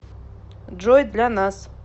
джой для нас